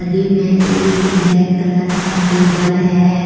गे में एक black colour का टेबल है।